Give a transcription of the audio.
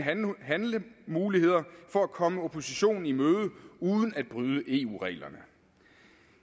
handlemuligheder for at komme oppositionen i møde uden at bryde eu reglerne